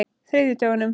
þriðjudögunum